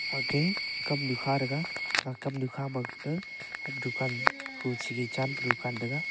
age kamnu kha taiga ga kamnu kha ma ke dukan huche chan paru taiga.